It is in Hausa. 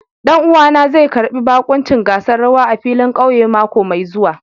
Ɗan'uwana zai karbi bakuncin gasar rawa a filin ƙauye mako mai zuwa.